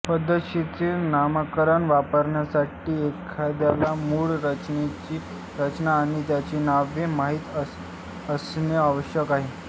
पद्धतशीर नामकरण वापरण्यासाठी एखाद्याला मूळ रचनांची रचना आणि त्यांची नावे माहित असणे आवश्यक आहे